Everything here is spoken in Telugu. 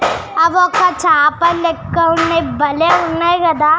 ఆది ఒక చాప లెక్క వున్నది బలే వున్నది కదా.